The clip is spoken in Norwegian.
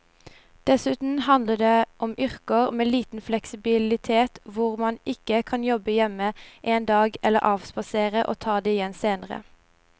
Dessuten handler det om yrker med liten fleksibilitet hvor man ikke kan jobbe hjemme en dag eller avspasere og ta det igjen senere.